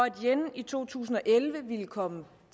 yen i to tusind og elleve ville komme